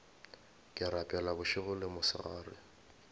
ke rapela bošego le mosegare